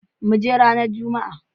Muje ranan jumma.